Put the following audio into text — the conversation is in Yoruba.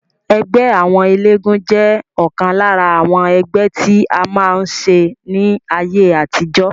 Ẹgbẹ́ àwọn eléégún jẹ́ ọ̀kan lára àwọn ẹgbẹ́ tí a máa ń ṣe ní ayé àtijọ́